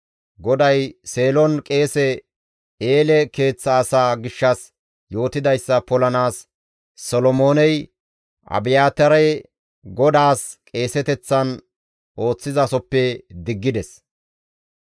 GODAY Seelon qeese Eele keeththa asaa gishshas yootidayssa polanaas Solomooney Abiyaataare GODAAS qeeseteththan ooththizasoppe diggides.